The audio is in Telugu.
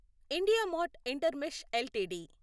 IndiaMART Intermesh LTD